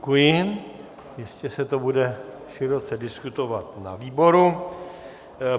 Děkuji, jistě se to bude široce diskutovat na výboru.